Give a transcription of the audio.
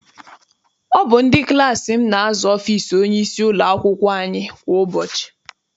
Ọ bụ ndị klassi m na-aza ọfịịsi onyeisi ụlọakwụkwọ anyị kwa ụbọchị.